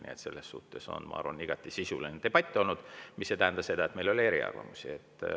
Nii et selles mõttes on, ma arvan, igati sisuline debatt olnud, mis ei tähenda seda, et meil ei ole eriarvamusi.